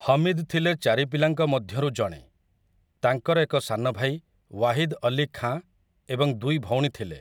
ହମିଦ୍ ଥିଲେ ଚାରି ପିଲାଙ୍କ ମଧ୍ୟରୁ ଜଣେ, ତାଙ୍କର ଏକ ସାନ ଭାଇ, ୱାହିଦ୍ ଅଲୀ ଖାଁ ଏବଂ ଦୁଇ ଭଉଣୀ ଥିଲେ ।